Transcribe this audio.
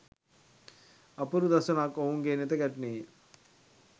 අපූරු දසුනක් ඔවුන්ගේ නෙත ගැටුණේය